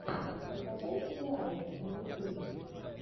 закачай сериалы на ютюбе